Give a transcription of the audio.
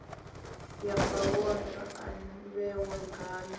ye mabono a vhewa ngayo